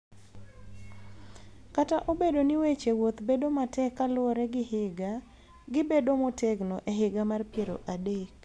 Kata obedo ni weche wuoth bedo matek kaluwore gi higa, gi bedo motegno e higa mar piero adek